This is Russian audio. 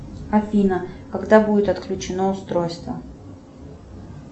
афина когда будет отключено устройство